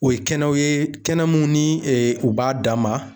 O ye kɛnɛw ye kɛnɛ mumu u b'a dan ma.